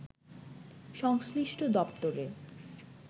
সংশ্লিষ্ট দপ্তরে